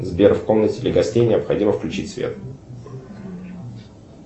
сбер в комнате для гостей необходимо включить свет